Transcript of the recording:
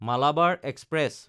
Malabar express